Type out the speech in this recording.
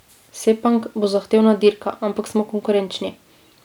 Sepang bo zahtevna dirka, ampak smo konkurenčni.